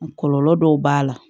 Kɔlɔlɔ dɔw b'a la